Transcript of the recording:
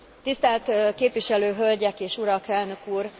Tisztelt képviselő hölgyek és urak, elnök úr!